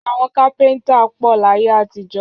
Àwọn kápẹ́ńtà pọ̀ láyé àtijọ́.